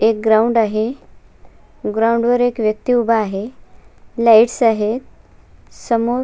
एक ग्राउंड आहे ग्राउंड वर एक व्यक्ति उभा आहे लाइट्स आहे समोर--